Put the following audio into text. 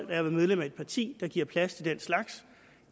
være medlem af et parti der giver plads til den slags